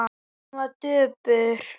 Hún var döpur.